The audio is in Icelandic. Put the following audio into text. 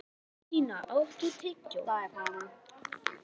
Santía, áttu tyggjó?